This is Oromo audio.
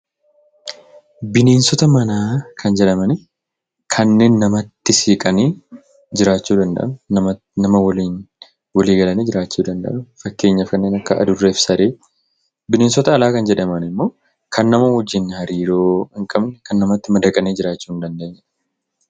Bineensota manaa kan jedhaman kanneen namatti siqanii jiraachuu danda'an, nama waliin walii galanii jiraachuu danda'u. Fakkeenyaaf kanneen akka Adurree fi Saree. Bineensota alaa kan jedhaman immoo kan nama waliin hariiroo hin qabne, kan namatti madaqanii jiraachuu hin dandeenyeedha.